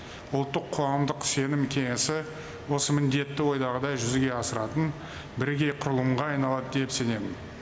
ұлттық қоғамдық сенім кеңесі осы міндетті ойдағыдай жүзеге асыратын бірегей құрылымға айналады деп сенемін